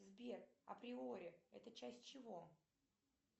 сбер априори это часть чего